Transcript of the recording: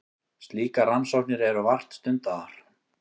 Slíkar rannsóknir eru vart stundaðar.